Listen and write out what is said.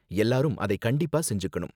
எல்லாரும் அதை கண்டிப்பா செஞ்சுக்கணும்.